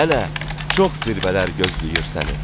Hələ çox zirvələr gözləyir səni.